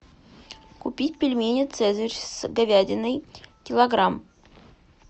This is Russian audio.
купить пельмени цезарь с говядиной килограмм